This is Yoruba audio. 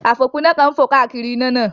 Àfòpiná kan ń fò káàkiri iná náà